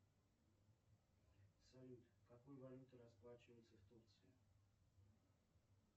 салют какой валютой расплачиваться в турции